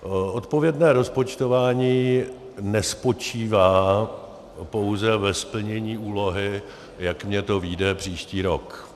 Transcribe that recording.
Odpovědné rozpočtování nespočívá pouze ve splnění úlohy, jak mi to vyjde příští rok.